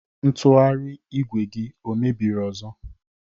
Ntụgharị igwe gi o mebiri ọzó?